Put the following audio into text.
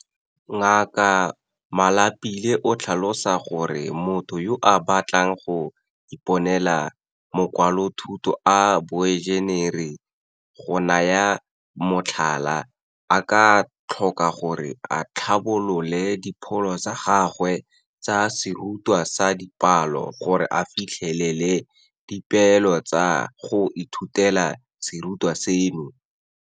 Ngaka Malapile o tlhalosa gore motho yo a batlang go iponela makwalothuto a boenjenere, go naya motlhala, a ka tlhoka gore a tlhabolole dipholo tsa gagwe tsa serutwa sa dipalo gore a fitlhelele dipeelo tsa go ithutela serutwa seno.